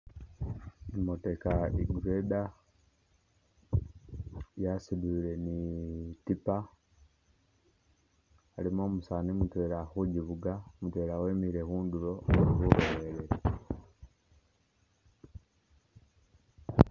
I'motoka i'grader yasutile ni i'tipa ilimo umusaani mutwela ali khu kivuga mutwela we mile khundulo.